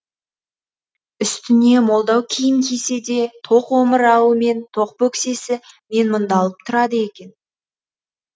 үстіне молдау киім кисе де тоқ омырауы мен тоқ бөксесі менмұндалап тұрады екен